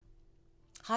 Radio 4